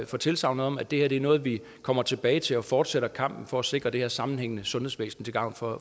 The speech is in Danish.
for tilsagnet om at det her er noget vi kommer tilbage til og fortsætter kampen for at sikre det her sammenhængende sundhedsvæsen til gavn for